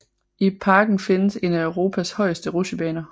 I parken findes en af Europas højeste rutsjebaner